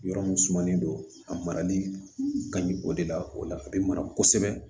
Yɔrɔ mun sumalen don a marali ka ɲi o de la o la a be mara kosɛbɛ